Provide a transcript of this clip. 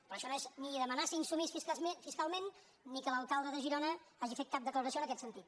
però això no és ni demanar ser insubmís fiscalment ni que l’alcalde de girona hagi fet cap declaració en aquest sentit